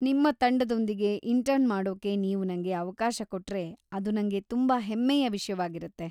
ನಿಮ್ಮ ತಂಡದೊಂದಿಗೆ ಇಂಟರ್ನ್ ಮಾಡೋಕೆ ನೀವು ನಂಗೆ ಅವಕಾಶ ಕೊಟ್ರೆ ಅದು ನಂಗೆ ತುಂಬಾ ಹೆಮ್ಮೆಯ ವಿಷ್ಯವಾಗಿರತ್ತೆ.